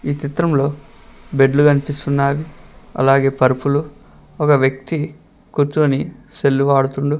ఈ చిత్రంలో బెడ్లు కనిపిస్తున్నావి అలాగే పరుపులు ఒక వ్యక్తి కూర్చొని సెల్లు వాడుతుంది.